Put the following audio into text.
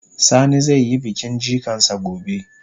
Sani zai yi bikin jikan sa gobe.